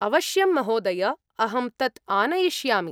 अवश्यं, महोदय! अहं तत् आनयिष्यामि।